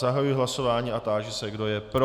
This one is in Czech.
Zahajuji hlasování a táži se, kdo je pro.